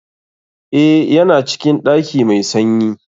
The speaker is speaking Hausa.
Eh, Ya na cikin ɗaki mai sanyi.